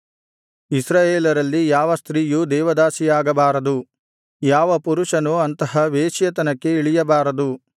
ಇಸ್ರಾಯೇಲರಲ್ಲಿ ಯಾವ ಸ್ತ್ರೀಯೂ ದೇವದಾಸಿಯಾಗಬಾರದು ಯಾವ ಪುರುಷನೂ ಅಂತಹ ವೇಶ್ಯೆತನಕ್ಕೆ ಇಳಿಯಬಾರದು